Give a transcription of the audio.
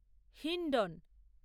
Hindon